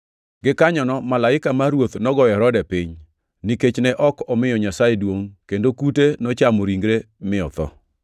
Gikanyono malaika mar Ruoth nogoyo Herode piny, nikech ne ok omiyo Nyasaye duongʼ kendo kute nochamo ringre, mi otho.